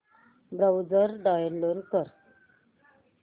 browser download कर